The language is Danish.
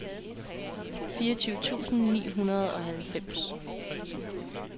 fireogtyve tusind ni hundrede og halvfems